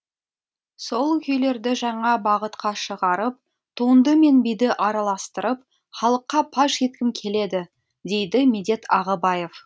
сол күйлерді жаңа бағытқа шығарып туынды мен биді араластырып халыққа паш еткім келеді дейді медет ағыбаев